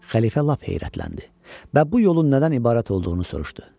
Xəlifə lap heyrətləndi və bu yolun nədən ibarət olduğunu soruşdu.